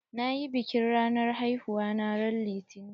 Nayi biƙin ranar haihuwa na ran litani.